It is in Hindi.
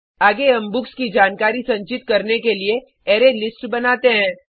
आगे हम बुक्स की जानकारी संचित करने के लिए अरेलिस्ट बनाते हैं